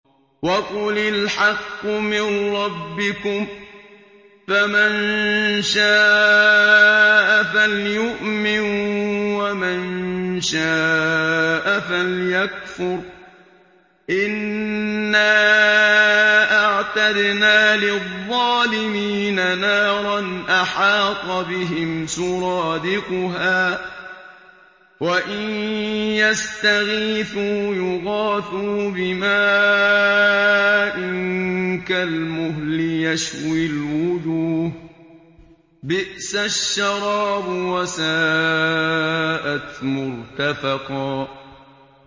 وَقُلِ الْحَقُّ مِن رَّبِّكُمْ ۖ فَمَن شَاءَ فَلْيُؤْمِن وَمَن شَاءَ فَلْيَكْفُرْ ۚ إِنَّا أَعْتَدْنَا لِلظَّالِمِينَ نَارًا أَحَاطَ بِهِمْ سُرَادِقُهَا ۚ وَإِن يَسْتَغِيثُوا يُغَاثُوا بِمَاءٍ كَالْمُهْلِ يَشْوِي الْوُجُوهَ ۚ بِئْسَ الشَّرَابُ وَسَاءَتْ مُرْتَفَقًا